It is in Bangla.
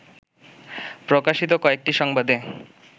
প্রকাশিত কয়েকটি সংবাদে